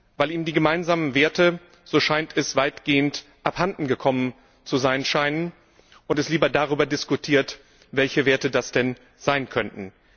Weil eben die gemeinsamen Werte weitgehend abhandengekommen zu sein scheinen und es lieber darüber diskutiert, welche Werte das denn sein könnten.